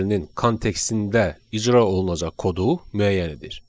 kontekstində icra olunacaq kodu müəyyən edir.